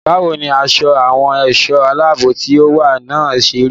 Báwo ni aṣọ àwọn ẹ̀ṣọ́ aláàbò tí ó wà náà ṣe rí?